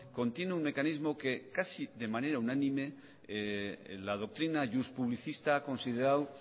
contiene un mecanismo que casi de manera unánime la doctrina iuspublicista ha considerado